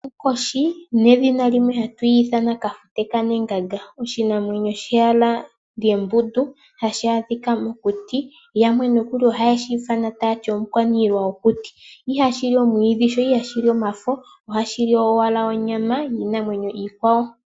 Onkoshi nedhina limwe hatu yi ithana Kafute kaNeganga. Oshinamwenyo shimwe sheyala lyembundu, hashi adhika mokuti. Yamwe ohaye shi ithana omukwaniilwa gwokuti. Ihashi li omwiidhi nenge omafo ihe ohashi li onyama niinanyemo iikwawo.